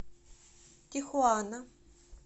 тихуана